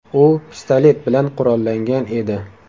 U pistolet bilan qurollangan edi.